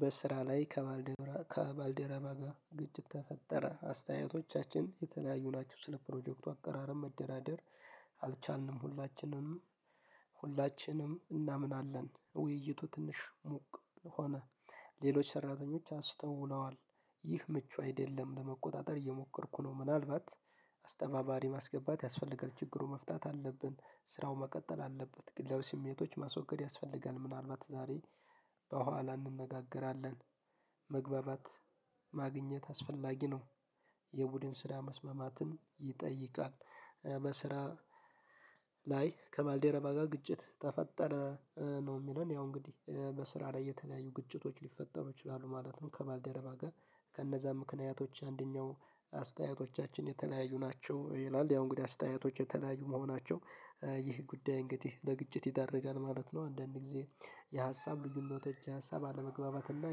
በስራ ላይ ከባልደረ ከባልደረባ ጋ ግጭት ተፈጠረ አስተያየቶቻችን የተለያዩ ናቸው ስለ ፕሮጀክቱ አቀራረብ መደራደር አልቻልንም። ሁላችንም ሁላችንም እናምናለን ውይይቱ ትንሽ ሙቅ ሆነ። ሌሎች ሰራተኞች አስተውለዋል። ይህ ምቹ አይደለም ለመቆጣጠር እየሞከርኩ ነው። ምናልባት አስተባባሪ ማስገባት ያስፈለጋል ችግሩን መፍታት አለብን። ስራውን መቀጠል አለበት ግላዊ ስሜቶች ማስወገድ ያስፈልጋል ምናልባት ዛሬ በኋላ እንነጋገራለን። መግባባት ማግኘት አስፈላጊ ነው። የቡድን ስራ መስማማትን ይጠይቃል። በስራ ላይ ከባልደረባ ጋ ግጭት ተፈጠረ። ነው የሚለን ያው እንግዲህ በስራ ላይ የተለያዩ ግጭቶች ሊፈጠሩ ይችላሉ። ማለትም ከባልደረባ ጋ ከእነዛ ምክንያቶች አንደኛው አስተያየቶቻችን የተለያዩ ናቸው ይላል ያው እንግዲህ አስተያየቶች የተለያዩ መሆናቸው ይህ ጉዳይ እንግዲህ ለግጭት ይዳርጋል ማለት ነው። አንዳንድ ጊዜ የሀሳብ ልዩነቶች የሀሳብ አለመግባባትና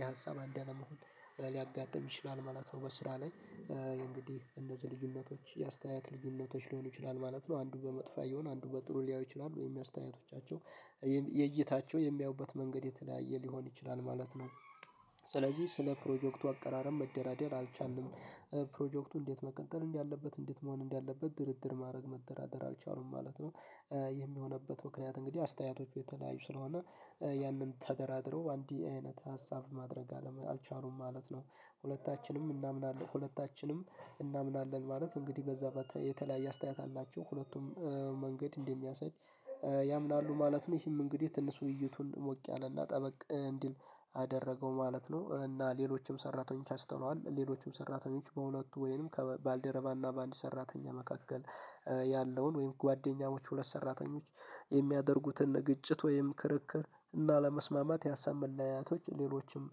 የሀሳብ አንድ አለመሆን ሊያጋጥም ይችላል ማለት ነው። በስራ ላይ እንግዲህ እነዚህ ልዩነቶች የአስተያየት ልዩነቶች ሊሆኑ ይችላል ማለት ነው። አንዱ በመጥፎ ያየውን አንዱ በጥሩ ሊያየው ይችላል ወይም የአስተያየቶቻቸው የእይታቸው የሚያዩበት መንገድ የተለያየ ሊሆን ይችላል ማለት ነው። ስለዚህ ስለ ፕሮጀክቱ አቀራረብ መደራደር አልቻልንም። ፕሮጀክቱ እንዴት መቀጠል እንዳለበት እንዴት መሆን እንዳለበት ድርድር ማረግ መደራደር አልቻሉም ማለት ነው። ይህም የሆነበት ምክንያት እንግዲህ አስተያየቶቹ የተለያዩ ስለሆነ ያንን ተደራድረው አንድ አይነት ሀሳብ ማድረግ አልቻሉም ማለት ነው። ሁለታችንም እናምናለን ሁለታችንም እናምናለን ማለት እንግዲህ በዛ የተለያየ አስተያየት አላቸው ሁለቱም መንገድ እንደሚያሳይ ያምናሉ ማለትም ይሄም እንግዲህ ትንሹን ውውዩቱን ሞቅ ያለ እና ጠበቅ እንዲል አደረገው ማለት ነው። እና ሌሎችም ሰራተኞች አንስተንዋል ሌሎችም ሰራተኞች በሁለቱ ወይንም ከባልደረባና በአንድ ሰራተኛ መካከል ያለውን ወይም ጓደኛሞች ሁለት ሰራተኞች የሚያደርጉትን ግጭት ወይም ክርክር እና ለመስማማት ያሳምናያቶች ሌሎችም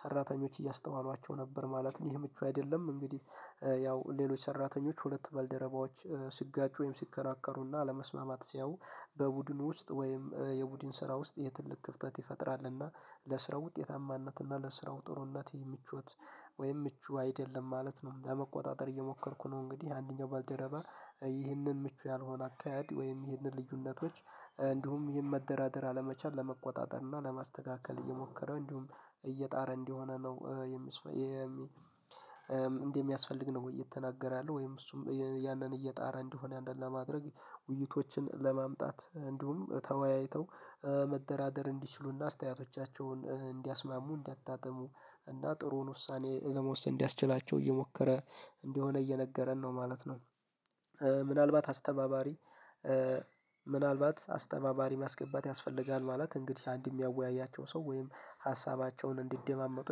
ሰራተኞች እያስተዋሏቸው ነበር ማለት ነው። ይሄ ምቹ አይደለም። እንግዲህ ያው ሌሎች ሰራተኞች ሁለት ባልደረባዎች ሲጋጩ ወይም ሲከራከሩና አለመስማማት ሲያዩ በቡድኑ ውስጥ ወይም የቡድን ስራ ውስጥ ትልቅ ክፍተት ይፈጥራልና ለስራው ውጤታማነትና ለስራው ጥሩነት የምቾት ወይም ምቹ አይደለም ማለት ነው። ለመቆጣጠር እየሞከርኩ ነው እንግዲህ አንደኛው ባደረባ ይህንን ምቹ ያልሆነ አካሄድ ወይም ይህንን ልዩነቶች እንዲሁም ይህን መደራደር አለመቻል ለመቆጣጠር እና ለማስተካከል እየሞከረ እንዲሁም እየጣረ እንዲሆነ ነው። የሚ እንዴት የሚያስፈልግ ነው እየተናገረ ያለው ወይም እሱም ያንን እየጣረ እንደሆነ አንደኛ ለማድረግ ውይይቶችን ለማምጣት እንዲሁም ተወያይተው መደራደር እንዲችሉና አስተያየቶቻቸውን እንዲያስማሙ እንዲያጣጥሙ እና ጥሩውን ውሳኔ ለመወሰን እንዲያስችላቸው እየሞከረ እንደሆነ እየነገረን ነው ማለት ነው። ምናልባት አስተባባሪ ምናልባት አስተባባሪ ማስገባት ያስፈልጋል ማለት እንግዲህ አንድ የሚያወያያቸው ሰው ወይም ሀሳባቸውን እንዲደማመጡ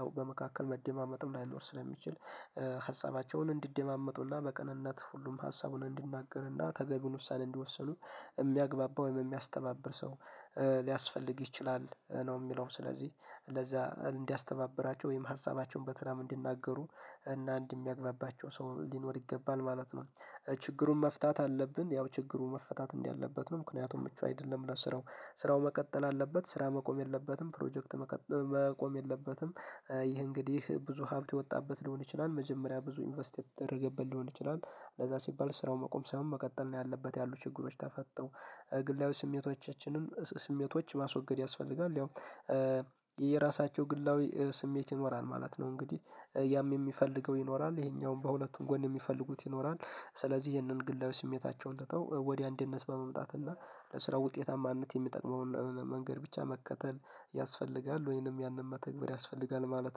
ያው በመካከል መደማመጡም ላይኖር ስለሚችል ሀሳባቸውን እንዲደማመጡና በቅንነት ሁሉም ሀሳቡን እንዲናገርና ተገቢውን ውሳኔ እንዲወሰኑ የሚያግባባው ወይም የሚያስተባብር ሰው ሊያስፈልግ ይችላል ነው የምለው ስለዚህ ለዛ እንዲያስተባብራቸው ወይም ሀሳባቸውን በተራም እንዲናገሩ እና አንድ ሚያግባባቸው ሰው ሊኖር ይገባል ማለት ነው። ችግሩን መፍታት አለብን ያው ችግሩ መፈታት እንዲህ ያለበት ነው። ምክንያቱም ምቹ አይደለም ለስራው ስራው መቀጠል አለበት። ስራ መቆም የለበትም ፕሮጀክት መቆም የለበትም። ይህ እንግዲህ ብዙ ሀብት የወጣበት ሊሆን ይችላል መጀመሪያ ብዙ ኢንቨስት የተደረገበት ሊሆን ይችላል። ለዛ ሲባል ስራው መቆም ሳይሆን መቀጠል ነው ያለበት ያሉ ችግሮች ተፈተው። ግላዊ ስሜቶቻችንም ስሜቶች ማስወገድ ያስፈልጋል ያው የራሳቸው ግላዊ ስሜት ይኖራል ማለት ነው እንግዲህ ያም የሚፈልገው ይኖራል ይሄኛውን በሁለቱም ጎን የሚፈልጉት ይኖራል ስለዚህ ይሄንን ግላዊ ስሜታቸውን ትተው ወዲያ አንድነት በመምጣት እና ስለ ውጤታማነት የሚጠቅመውን መንገድ ብቻ መከተል ያስፈልጋል ወይንም ያንን መተግበር ያስፈልጋል ማለት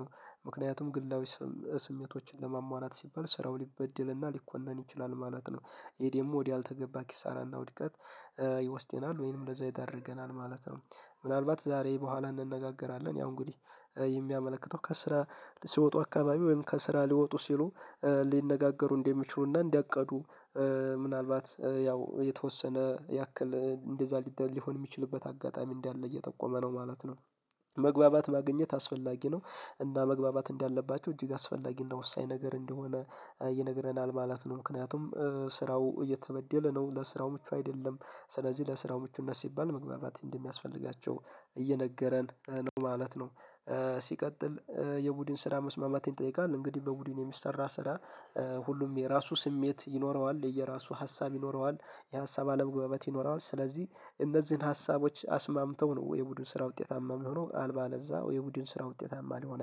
ነው። ምክንያቱም ግላዊ ስሜቶችን ለማሟላት ሲባል ስራው ሊበደልና ሊኮነን ይችላል ማለት ነው። ይሄ ደግሞ ወድ አልተገባ ኪሳራና ውድቀት ይወስደናል ወይንም እንደዛ ይዳርገናል ማለት ነው። ምናልባት ዛሬ በኋላ እንነጋገራለን ያው እንግዲህ የሚያመለክተው ከስራ ሲወጡ አካባቢ ወይም ከስራ ሊወጡ ሲሉ ሊነጋገሩ እንደሚችሉና እንደቀዱ ምናልባት ያው የተወሰነ ያክል እንደዛ ሊሆን የሚችልበት አጋጣሚ እንዳለ እየጠቆመ ነው ማለት ነው። መግባባት ማግኘት አስፈላጊ ነው። እና መግባባት እንዳለባቸው እጅግ አስፈላጊና ወሳኝ ነገር እንደሆነ ይነግረናል ማለት ነው። ምክንያቱም ስራው እየተበደለ ነው ለስራው ምቹ አይደለም ስለዚህ ለስራው ምቹነት ሲባል መግባባት እንደሚያስፈልጋቸው እየነገረን ነው ማለት ነው። ሲቀጥል የቡድን ስራ መስማማትን ይጠይቃል እንግዲህ በቡድን የሚሰራ ስራ ሁሉም የራሱ ስሜት ይኖረዋል የየራሱ ሀሳብ ይኖረዋል። የሀሳብ አለመግባባት ይኖረዋል ስለዚህ እነዚህን ሀሳቦች አስማምተው ነው የቡድን ስራ ውጤታማ ሚሆነው አለዚያ የቡድን ስራ ውጤታማ ሊሆን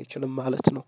አይችልም ማለት ነው።